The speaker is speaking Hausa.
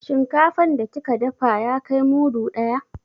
Shinkafan da kika dafa ya kai mudu ɗaya.